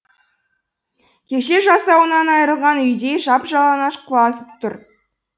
кеше жасауынан айрылған үйдей жап жалаңаш құлазып тұр